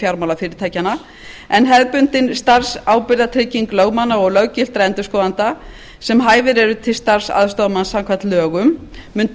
fjármálafyrirtækjanna en hefðbundin starfsábyrgðartrygging lögmanna og löggiltra endurskoðenda sem hæfir starfs aðstoðarmanns samkvæmt lögum mun